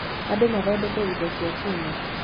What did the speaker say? Andũ mathondekire indo cia Cuma.